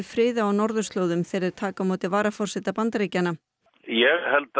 friði á norðurslóðum þegar þeir taka á móti varaforseta Bandaríkjanna ég held